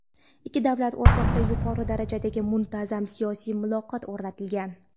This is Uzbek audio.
Ikki davlat o‘rtasida yuqori darajadagi muntazam siyosiy muloqot o‘rnatilgan.